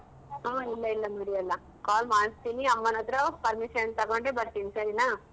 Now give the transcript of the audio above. ಹ ಇಲ್ಲ ಇಲ್ಲ ಮರ್ಯಲ್ಲ call ಮಾಡ್ಸ್ತೀನಿ ಅಮ್ಮನ್ ಹತ್ರ permission ತಗೊಂಡೆ ಬರ್ತೀನಿ ಸರಿನಾ?